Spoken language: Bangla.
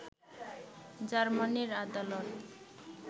জার্মানির আদালত